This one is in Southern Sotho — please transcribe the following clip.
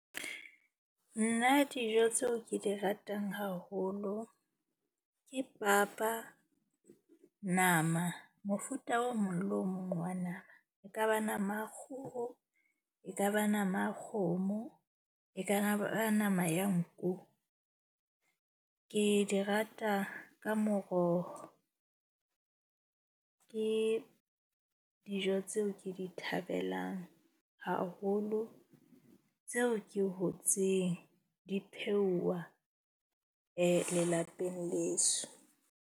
Nna dijo tseo ke di ratang haholo ke papa, nama, mofuta o mong le o mong wa nama. E kaba nama ya kgoho e kaba nama ya kgomo, e ka na ba nama ya nku. Ke di rata ka moroho. Ke dijo tseo ke di thabelang haholo, tseo ke hotseng di pheuwa lelapeng leso.